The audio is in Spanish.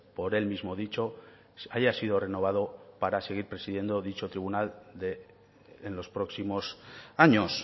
por él mismo dicho haya sido renovado para seguir presidiendo dicho tribunal en los próximos años